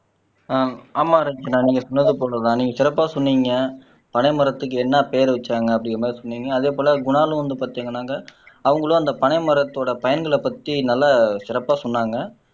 ஆஹ் ஆமா ரட்சனா நான் நீங்க சொன்னது போலதான் நீங்க சிறப்பா சொன்னீங்க பனை மரத்துக்கு என்ன பேர் வச்சாங்க அப்படிங்கிற மாதிரி சொன்னீங்க அதே போல குணாலும் வந்து பார்த்தீங்கன்னாக்க அவங்களும் அந்த பனை மரத்தோட பயன்களைப் பத்தி நல்லா சிறப்பா சொன்னாங்க